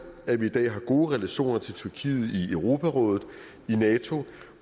at vi i dag har gode relationer til tyrkiet i europarådet i nato